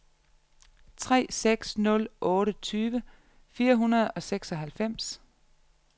tre seks nul otte tyve fire hundrede og seksoghalvfems